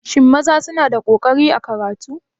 Shin maza suna da ƙoƙari a karatu?